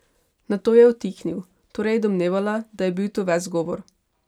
Nato je utihnil, torej je domnevala, da je bil to ves govor.